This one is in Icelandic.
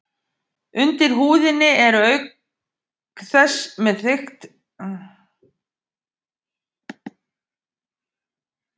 Undir húðinni eru þau auk þess með þykkt spiklag.